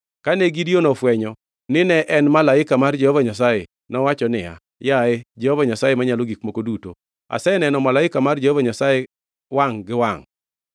Kane Gideon ofwenyo ni ne en malaika mar Jehova Nyasaye, nowacho niya, “Yaye, Jehova Nyasaye Manyalo Gik Moko Duto! Aseneno malaika mar Jehova Nyasaye wangʼ gi wangʼ!”